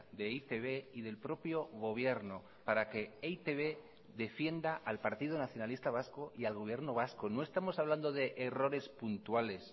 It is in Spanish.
de e i te be y del propio gobierno para que e i te be defienda al partido nacionalista vasco y al gobierno vasco no estamos hablando de errores puntuales